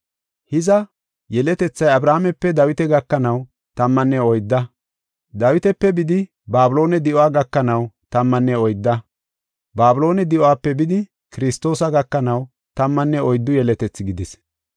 Hiza, yeletethay Abrahaamepe Dawita gakanaw tammanne oydda. Dawitape bidi Babiloone di7uwa gakanaw tammanne oydda. Babiloone di7uwape bidi Kiristoosa gakanaw tammanne oyddu yeletethi gidees.